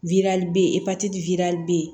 be yen be yen